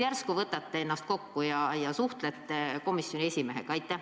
Järsku võtate ennast kokku ja suhtlete komisjoni esimehega?